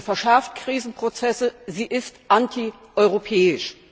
Sie verschärft Krisenprozesse, sie ist antieuropäisch.